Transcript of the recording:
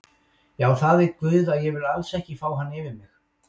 Já það veit guð að ég vil alls ekki fá hann yfir mig.